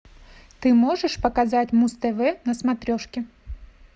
ты можешь показать муз тв на смотрешке